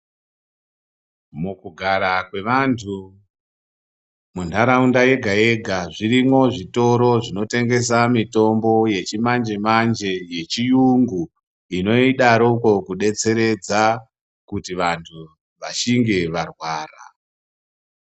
Mukugara kwevantu mundaraunda yega yega zvirimwo zvitoro zvinotengesa mitombo yechimanje manje yechiungu inodaroko kudetseredza kuti vantu vashinge varwara.